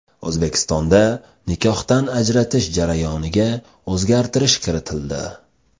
O‘zbekistonda nikohdan ajratish jarayoniga o‘zgartirish kiritildi.